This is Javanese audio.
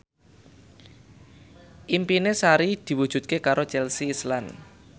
impine Sari diwujudke karo Chelsea Islan